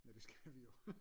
Ja det skal vi jo